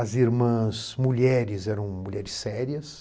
As irmãs mulheres eram mulheres sérias.